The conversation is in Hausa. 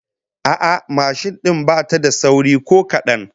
A'a, mashin din bata da sauri ko kadan